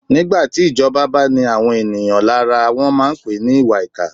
Nígbà tí ìjọba bá ni àwọn èèyàn lára, wọ́n máà ń pèé ní ìwàìkà.